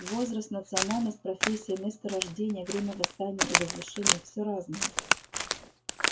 возраст национальность профессия место рождения время восстания и возвышения всё разное